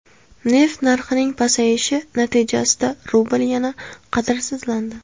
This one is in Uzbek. Neft narxining pasayishi natijasida rubl yana qadrsizlandi.